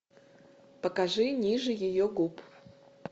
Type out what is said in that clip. покажи ниже ее губ